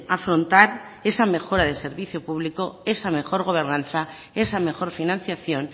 afrontar esa mejora de servicio público esa mejor gobernanza esa mejor financiación